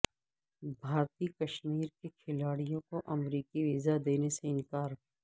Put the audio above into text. بھارتی کشمیر کے کھلاڑیوں کو امریکی ویزا دینے سے انکار